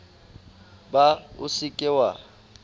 ba o se ke wa